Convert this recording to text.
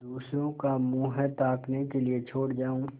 दूसरों का मुँह ताकने के लिए छोड़ जाऊँ